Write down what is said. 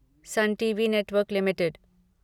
sun TV network limited